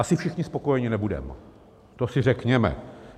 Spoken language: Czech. Asi všichni spokojeni nebudeme, to si řekněme.